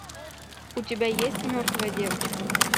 у тебя есть мертвая девочка